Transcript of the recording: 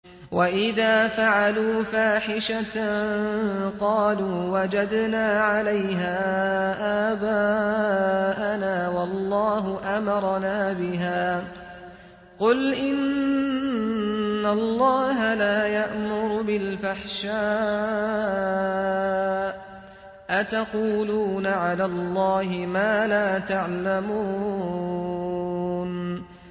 وَإِذَا فَعَلُوا فَاحِشَةً قَالُوا وَجَدْنَا عَلَيْهَا آبَاءَنَا وَاللَّهُ أَمَرَنَا بِهَا ۗ قُلْ إِنَّ اللَّهَ لَا يَأْمُرُ بِالْفَحْشَاءِ ۖ أَتَقُولُونَ عَلَى اللَّهِ مَا لَا تَعْلَمُونَ